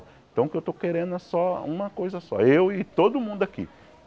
Então o que eu estou querendo é só uma coisa só, eu e todo mundo aqui.